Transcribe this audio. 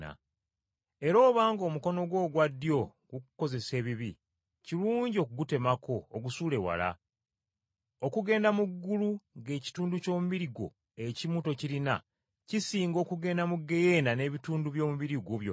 Era obanga omukono gwo ogwa ddyo gukukozesa ebibi, kirungi okugutemako ogusuule wala. Okugenda mu ggulu ng’ekitundu ky’omubiri gwo ekimu tokirina kisinga okugenda mu ggeyeena n’ebitundu by’omubiri gwo byonna.